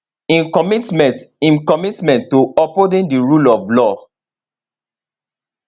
im commitment im commitment to upholding di rule of law